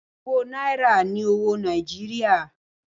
Owó náírà ni owó Nàìjíríà.